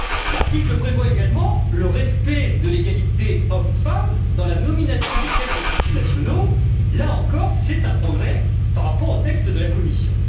L'article prévoit également le respect de l'égalité hommes femmes dans la nomination des chefs d'instituts nationaux, progrès, là encore, par rapport au texte de la Commission.